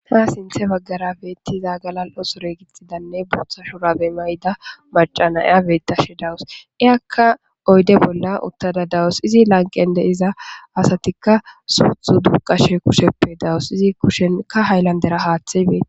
Ha sinththe baggara beeththida galal7o sure gixxidanne booththa shuraabe mayida macca na7iya beeththashe de7awus; iyakka oyde bolla uththada de7awus; izi lanqqen de7iza asathikka suuththe duqqashe kusheppe dawus; izi kushenkka haylanddera haaththay beeththees.